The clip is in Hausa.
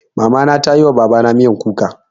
Mama na ta yi wa Baba na miyan kuka.